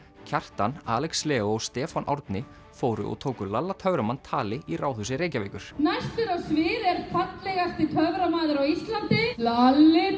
Kjartan Alex Leó og Stefán Árni fóru og tóku lalla töframann tali í Ráðhúsi Reykjavíkur næstur á svið er fallegasti töframaður á Íslandi lalli